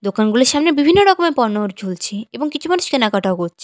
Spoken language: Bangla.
দোকানগুলির সামনে বিভিন্ন রকমের পণ্যর ঝুলছে এবং কিছু মানুষ কেনাকাটাও করছ --